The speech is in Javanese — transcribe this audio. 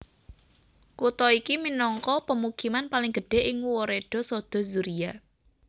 Kutha iki minangka pemukiman paling gedhé ing woreda Sodo Zuria